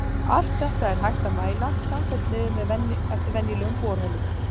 Allt þetta er hægt að mæla samfellt niður eftir venjulegum borholum.